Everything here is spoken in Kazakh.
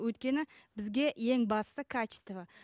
өйткені бізге ең басты качество